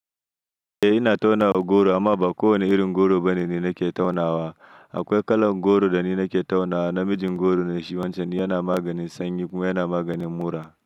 Eh ina taunawa goro amma ba kowane irin goro bane nake taunawa. Akwai kalan goro dani nake taunawa namijin goro ne shi wancan yana maganin sanyi kuma yana maganin mura.